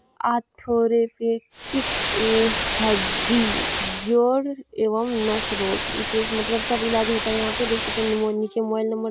आर्थोरेपेटीक ए हड्डी जोड़ एवं नस रोग विशेष मतलब सब ईलाज होता है यहाँ पे देख सकते हैं निमो नीचे मोबाइल नंबर --